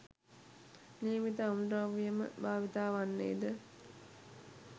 නියමිත අමුද්‍රව්‍යම භාවිත වන්නේද